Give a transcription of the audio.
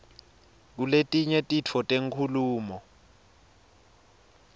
kuletinye titfo tenkhulumo